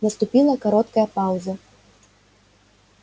наступила короткая пауза